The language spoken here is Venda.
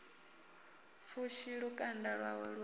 pfushi lukanda lwawe lu a